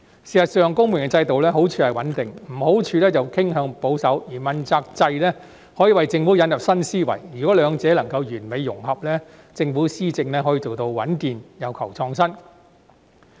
事實上，公務員制度的好處是穩定，壞處是傾向保守，而問責制可以為政府引入新思維，如果兩者能夠完美融合，政府施政便可以做到穩健又求創新。